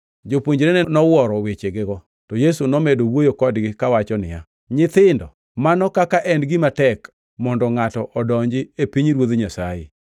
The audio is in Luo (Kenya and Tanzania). Jopuonjrene nowuoro wechegego. To Yesu nomedo wuoyo kodgi kawacho niya, “Nyithindo, mano kaka en gima tek mondo ngʼato odonji e pinyruoth Nyasaye!